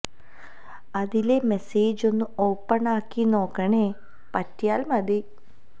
അതിലെ മെസ്സേജ് ഒന്ന് ഓപ്പൺ ആക്കി നോക്കണേ പറ്റിയാൽ മതി